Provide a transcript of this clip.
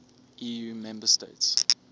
eu member states